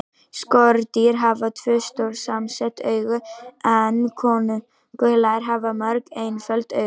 Skordýr hafa tvö, stór samsett augu en kóngulær hafa mörg, einföld augu.